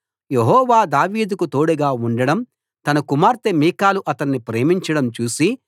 యెహోవా దావీదుకు తోడుగా ఉండడం తన కుమార్తె మీకాలు అతణ్ణి ప్రేమించడం చూసి